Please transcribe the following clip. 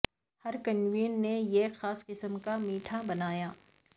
ہر کنووین نے ایک خاص قسم کا میٹھا بنایا